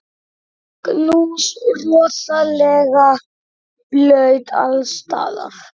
Magnús: Rosalega blautt alls staðar?